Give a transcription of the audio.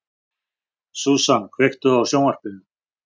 Susan, kveiktu á sjónvarpinu.